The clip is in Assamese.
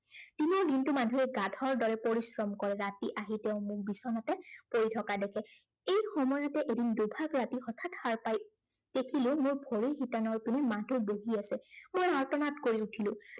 দিনৰ দিনটো মাধুৱে গাধৰ দৰে পৰিশ্ৰম কৰে। ৰাতি আহি তেওঁ মোক বিচানাতে পৰি থকা দেখে। এই সময়তে এদিন দুভাগ ৰাতি হঠাত সাৰ পাই, দেখিলো মোৰ ভৰিৰ শিতানৰ পিনে মাধু বহি আছে। মই আৰ্তনাদ কৰি উঠিলো।